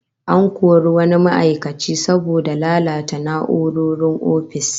An kori wani ma'aikaci saboda lalata na'urorin ofis